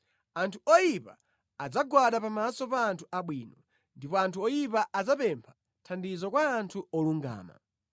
Anthu oyipa adzagwada pamaso pa anthu abwino, ndipo anthu oyipa adzapempha thandizo kwa anthu olungama.